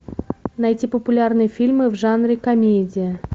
найти популярные фильмы в жанре комедия